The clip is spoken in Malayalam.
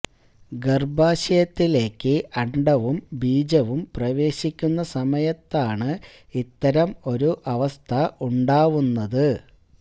ഗര്ഭാശയത്തിലേക്ക് അണ്ഡവും ബീജവും പ്രവേശിക്കുന്ന സമയത്താണ് ഇത്തരം ഒരു അവസ്ഥ ഉണ്ടാവുന്നത്